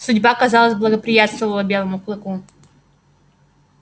судьба казалось благоприятствовала белому клыку